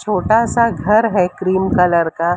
छोटा सा घर है क्रीम कलर का--